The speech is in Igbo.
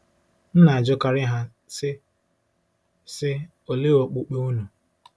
M na-ajụkarị ha, sị, sị, “Olee okpukpe unu ?”